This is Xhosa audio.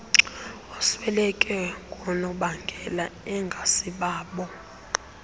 osweleke ngoonobangela engasibabo